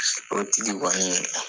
O tigi kɔni